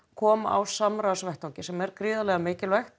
koma á samráðsvettvangi sem er gríðarlega mikilvægt